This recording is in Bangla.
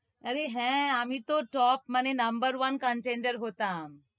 আরে হ্য়াঁ, আমি তো top, মানে নম্বর one contender হতাম,